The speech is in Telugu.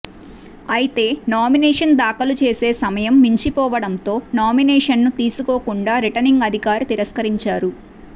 అయితే నామినేషన్ దాఖలు చేసే సమయం మించిపోవడంతో నామినేషన్ ను తీసుకోకుండా రిటర్నింగ్ అధికారి తిరస్కరించారు